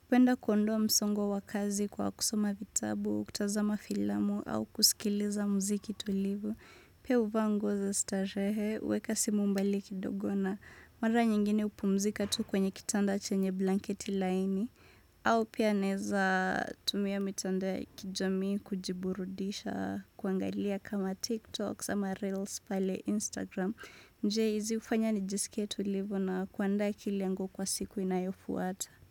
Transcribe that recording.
Hupenda kuondoa msongo wa kazi kwa kusoma vitabu, kutazama filamu, au kusikiliza mziki tulivu. Pia huvaa nguo za starehe, huweka simu mbali kidogo na. Mara nyingine hupumzika tu kwenye kitanda chenye blanketi laini. Au pia naweza tumia mitandao ya kijamii kujiburudisha kuangalia kama TikTok, ama reels pale Instagram. Njia hizi hufanya nijisike tulivu na kuandaa kilengo kwa siku inayofuata.